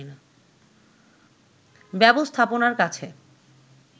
ব্যবস্থাপনার কাছে